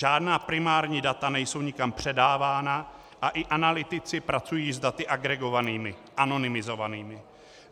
Žádná primární data nejsou nikam předávána a i analytici pracují s daty agregovanými, anonymizovanými.